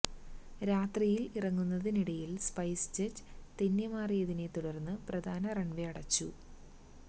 രാത്രിയില് ഇറങ്ങുന്നതിനിടയില് സ്പൈസ് ജറ്റ് തെന്നിമാറിയതിനെ തുടര്ന്ന് പ്രധാന റണ്വേ അടച്ചു